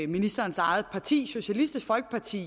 ministerens eget parti socialistisk folkeparti